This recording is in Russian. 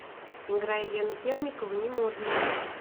играй елену темникову не модные